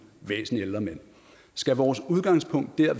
væsentlig ældre mænd skal vores udgangspunkt